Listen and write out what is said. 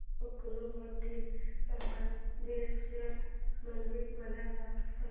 गोकर्ण मधील महाबलेश्वर मंदिर मला सांग